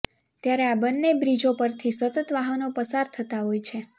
ત્યારે આ બંન્ને બ્રીજો પરથી સતત વાહનો પસાર થતા હોય છે